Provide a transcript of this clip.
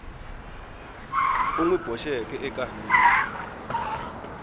u n wi boxeke eka